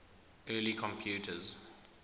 early computers